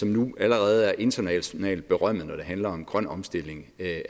nu allerede er internationalt berømmet når det handler om grøn omstilling af